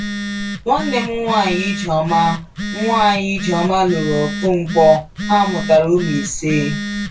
Nwanne m nwanyị Ijeoma nwanyị Ijeoma lụrụ Okonkwọ, ha mụtara ụmụ ise.